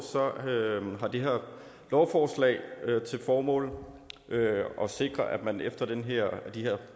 har det her lovforslag til formål at sikre at man efter de her